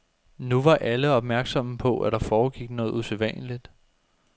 Nu var alle opmærksomme på, at der foregik noget usædvanligt.